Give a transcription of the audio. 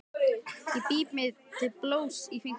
Ég bít mig til blóðs í fingurinn.